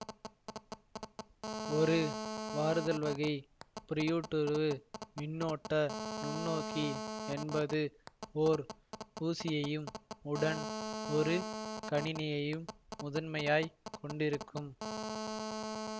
ஒரு வாருதல்வகை புரையூடுருவு மின்னோட்ட நுண்ணோக்கி என்பது ஓர் ஊசியையும் உடன் ஒரு கணினியையும் முதன்மையாய்க் கொண்டிருக்கும்